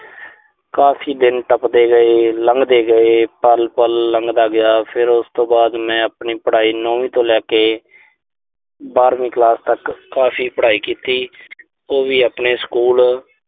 ਕਾਫ਼ੀ ਦਿਨ ਟੱਪਦੇ ਗਏ, ਲੰਘਦੇ ਗਏ। ਪਲ-ਪਲ ਲੰਘਦਾ ਗਿਆ। ਫਿਰ ਉਸ ਤੋਂ ਬਾਅਦ ਮੈਂ ਆਪਣੀ ਪੜਾਈ ਨੌਵੀਂ ਤੋਂ ਲੈ ਕੇ ਬਾਰਵੀਂ ਕਲਾਸ ਤੱਕ ਕਾਫ਼ੀ ਪੜਾਈ ਕੀਤੀ। ਉਹ ਵੀ ਆਪਣੇ ਸਕੂਲ